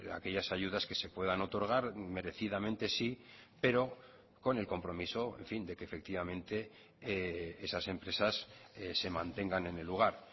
aquellas ayudas que se puedan otorgar merecidamente sí pero con el compromiso en fin de que efectivamente esas empresas se mantengan en el lugar